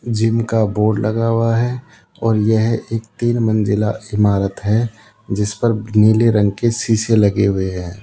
जिनका बोर्ड लगा हुआ है और यह एक तीन मंजिला ईमारत है जिस पर नीले रंग के शीशे लगे हुए --